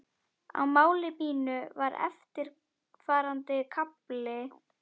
Í máli mínu var eftirfarandi kafli